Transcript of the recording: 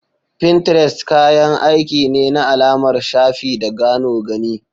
Pinterest kayan aiki ne na alamar shafi da gano gani.